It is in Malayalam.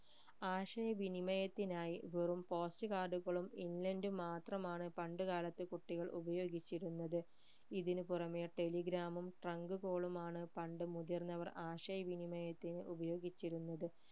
ആശയ വിനിമയത്തിനായി വെറും post card കളും inland ഉം മാത്രമാണ് പണ്ട് കാലത്ത് കുട്ടികൾ ഉപയോഗിച്ചിരുന്നത് ഇതിനുപുറമെ telegram ഉം trunk call മാണ് പണ്ട് മുതിർന്നവർ ആശയവിനിമയത്തിന് ഉപയോഗിച്ചിരുന്നത്